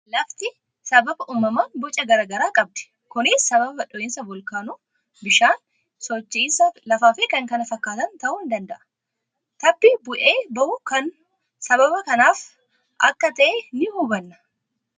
Lafti sababa uumamaan boca garaa garaa qabdi. Kunis sababa dhohiinsa volkaanoo, bishaanii, socho'iinsa lafaa fi kan kana fakkaatan ta'uu ni danda'a. Tabbi bu'ee bahu kun sababa kanaaf akka ta'e ni hubanna.